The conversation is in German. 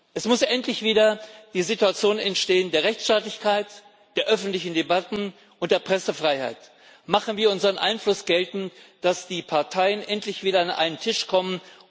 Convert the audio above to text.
Es muss endlich wieder eine Situation der Rechtsstaatlichkeit, der öffentlichen Debatten und der Pressefreiheit entstehen. Machen wir unseren Einfluss geltend, dass die Parteien endlich wieder an einen Tisch kommen.